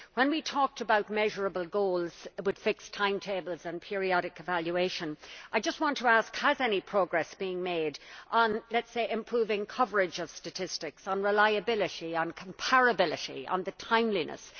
When we talked about measurable goals with fixed timetables and periodic evaluation, I just want to ask has any progress been made on, let us say, improving coverage of statistics, on reliability, on comparability, on the timeliness?